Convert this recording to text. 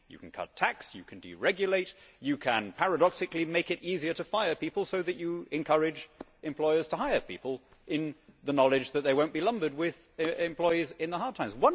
You can cut tax, you can deregulate, you can paradoxically make it easier to fire people so that you encourage employers to hire people in the knowledge that they will not be lumbered with employees in the hard times.